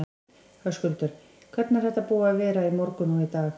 Höskuldur: Hvernig er þetta búið að vera í morgun og í dag?